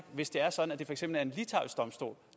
hvis det er sådan